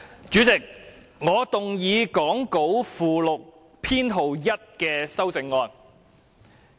主席，我動議講稿附錄編號1的修正案。